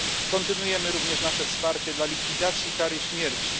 Kontynuujemy również nasze wsparcie dla zniesienia kary śmierci.